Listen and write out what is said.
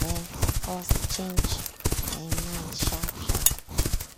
um us change um mind sharp sharp.